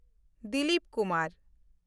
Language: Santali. ᱫᱤᱞᱤᱯ ᱠᱩᱢᱟᱨ